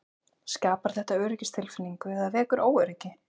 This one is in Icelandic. Skapar þetta öryggistilfinningu eða vekur óöryggi?